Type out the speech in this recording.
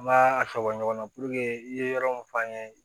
An m'a a tɔ bɔ ɲɔgɔn na i ye yɔrɔ min f'an ye